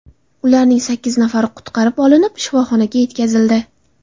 Ularning sakkiz nafari qutqarib olinib, shifoxonaga yetkazildi.